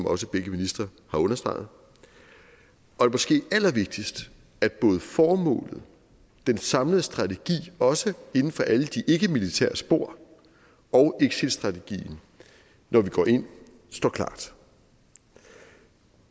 også begge ministre har understreget og måske allervigtigst at både formålet den samlede strategi også inden for alle de ikkemilitære spor og exitstrategien når vi går ind står klart